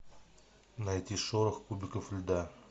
найти шорох кубиков льда